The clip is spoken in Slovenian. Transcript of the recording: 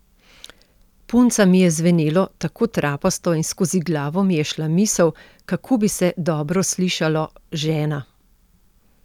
Punca mi je zvenelo tako trapasto in skozi glavo mi je šla misel, kako bi se dobro slišalo: ''Žena!